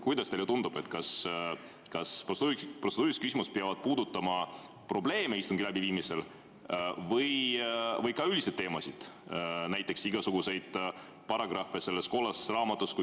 Kuidas teile tundub, kas protseduurilised küsimused peavad puudutama probleeme, mida esineb istungi läbiviimisel, või ka üldiseid teemasid, näiteks igasuguseid paragrahve selles kollases raamatus?